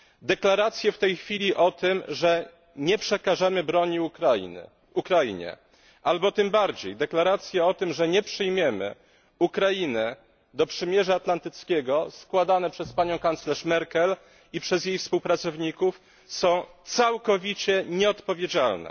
Deklaracje w tej chwili o tym, że nie przekażemy broni Ukrainie albo tym bardziej deklaracje o tym, że nie przyjmiemy Ukrainy do przymierza północnoatlantyckiego składane przez panią kanclerz Merkel i przez jej współpracowników są całkowicie nieodpowiedzialne.